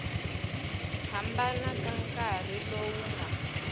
hambana ka nkarhi lowu nga